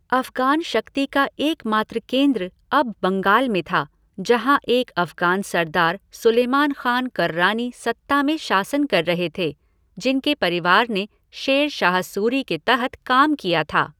अफ़ग़ान शक्ति का एकमात्र केंद्र अब बंगाल में था, जहाँ एक अफ़ग़ान सरदार सुलेमान ख़ान कर्रानी सत्ता में शासन कर रहे थे, जिनके परिवार ने शेर शाह सूरी के तहत काम किया था।